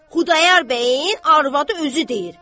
Xudayar bəyin arvadı özü deyir.